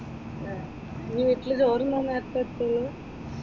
ആഹ് നീ വീട്ടിൽ ചോറുണ്ണാൻ നേരത്തെ എത്തുള്ളു?